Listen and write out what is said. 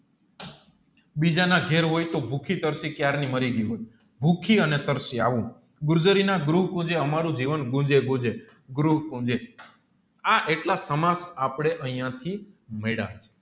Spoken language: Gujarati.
બીજાના ઘેર હોય તોહ ભૂખી તરસી ક્યારની મરીગયી હોય ભુકીયાને તરસી આવું અમારું જીતાવ આ એટલા સમક્ષ આપણે અહીંયાંથી માયડા